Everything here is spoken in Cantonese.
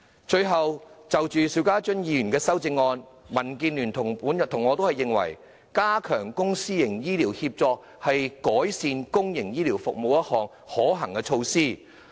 最後，就邵家臻議員的修正案，民建聯和我均認為，加強公私營醫療協作是改善公營醫療服務的一項可行措施。